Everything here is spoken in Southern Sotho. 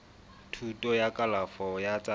thuto ya kalafo ya tsa